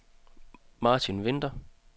Martin Vinther